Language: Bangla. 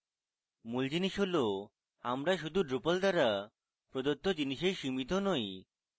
মূল জিনিস হলআমরা শুধু drupal দ্বারা প্রদত্ত জিনিসেই সীমিত নই